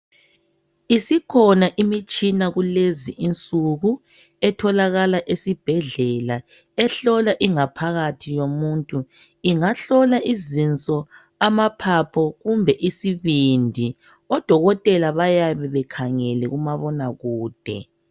Isikhona imitshina kulezi insuku etholakala esibhedlela ehlola ingaphakathi yomuntu ingahlola izinso, amaphapho kumbe isibindi odokotela bayabe bekhangele kumabonakude